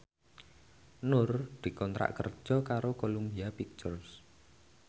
Nur dikontrak kerja karo Columbia Pictures